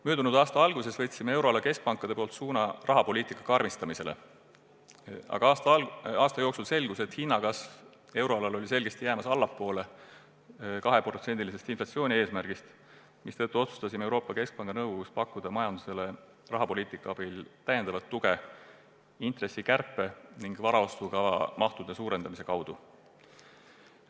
Möödunud aasta alguses võtsid euroala keskpangad suuna rahapoliitika karmistamisele, aga aasta jooksul selgus, et euroala hinnakasv oli selgelt jäämas allapoole 2%-lise inflatsiooni eesmärki, mistõttu otsustasime Euroopa Keskpanga nõukogus pakkuda majandusele rahapoliitika abil täiendavat tuge intressikärpe ning varaostukava mahtude suurendamise kaudu.